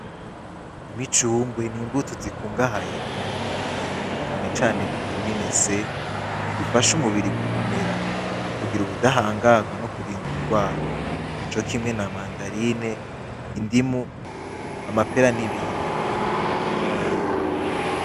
Imicungwe nimbuto zikungahaye kuntunga mubiri cane cane vitamine se bifasha umubiri gukomera kugira ubutahangagwa no kurinda ingwara co kimwe na mandarine indimu amabera n'ibindi